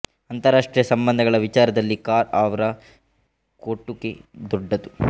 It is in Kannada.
ಅಂತರ ರಾಷ್ಟ್ರೀಯ ಸಂಬಂಧಗಳ ವಿಚಾರದಲ್ಲಿ ಕಾರ್ ಅವರ ಕೊಟುಗೆ ದೊಡ್ಡದು